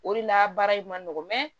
O de la baara in ma nɔgɔn